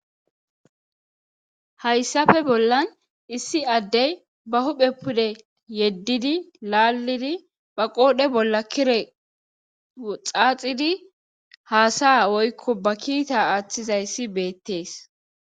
Hayssafe bollan issi addey ba huphe pude yeddidi laallidi ba qoodhe bolla kire xaaxidi haasaya woykko ba kiita aaththizayssi beettees.